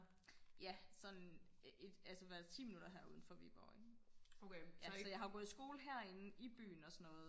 ja sådan et altså hvad ti minutter her uden for Viborg ikke så jeg har jo gået i skole her inde i byen og sådan noget